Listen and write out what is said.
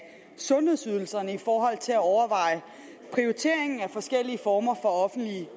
sundhedsydelserne i forhold til at overveje prioriteringen af forskellige former for offentlige